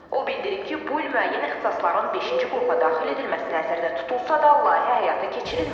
O bildirib ki, bu il müəyyən ixtisasların beşinci qrupa daxil edilməsi nəzərdə tutulsa da, layihə həyata keçirilməyib.